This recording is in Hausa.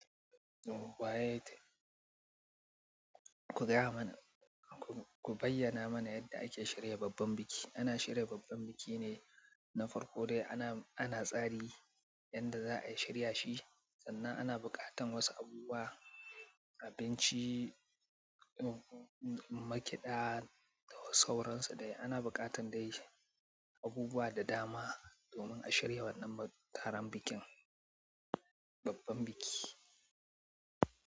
Waye kai? Ku gaya mana, ku bayyana mana yadda ake shirya babban biki. Ana shirya babban biki ne na farko dai ana tsari yanda za'a shirya shi, sannan ana buƙatan wasu abubuwa, abinci, makiɗa da sauran su dai. Ana buƙatan dai abubuwa da dama domin a shirya wannan taron bikin, babban biki.